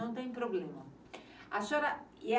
Não tem problema. A senhora